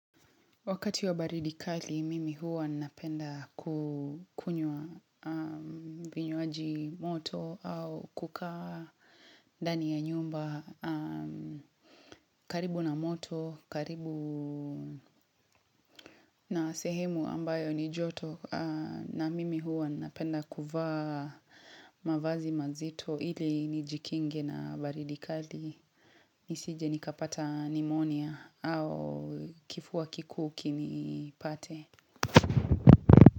Wakati wa baridi kali mimi huwa napenda kukunywa vinywaji moto au kukaa ndani ya nyumba karibu na moto karibu na sehemu ambayo ni joto na mimi huwa napenda kuvaa mavazi mazito ili nijikinge na baridi kali nisije nikapata pneumonia au kifua kikuu kinipate.